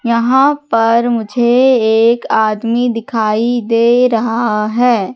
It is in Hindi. यहां पर मुझे एक आदमी दिखाई दे रहा है।